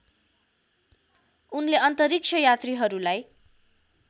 उनले अन्तरिक्षयात्रीहरूलाई